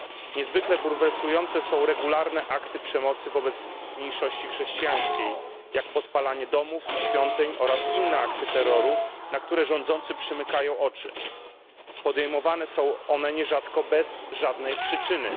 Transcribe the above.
Niezwykle bulwersujące są regularne akty przemocy wobec mniejszości chrześcijańskiej, jak podpalanie domów i świątyń oraz inne akty terroru, na które rządzący przymykają oczy. Podejmowane są one nierzadko bez żadnej przyczyny.